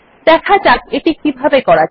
দেখা যাক এটি কিভাবে করা যায়